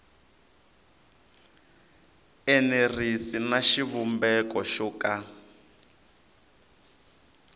enerisi na xivumbeko xo ka